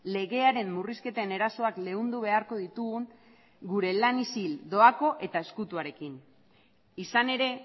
legearen murrizketen erasoak leundu beharko ditugun gure lan isil doako eta ezkutuarekin izan ere